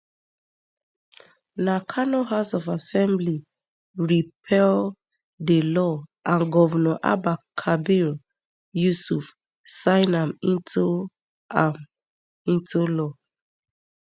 na kano house of assembly repeal di law and govnor abba kabir yusuf sign am into am into law